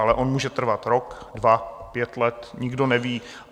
Ale on může trvat rok, dva, pět let, nikdo neví.